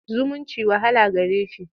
zumunci wahala gare shi.